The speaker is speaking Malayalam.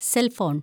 cell‍ phone‍